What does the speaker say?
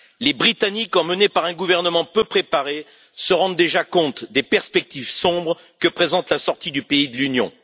Les Britanniques, emmenés par un gouvernement peu préparé, se rendent déjà compte des perspectives sombres que présente la sortie du pays de l'Union.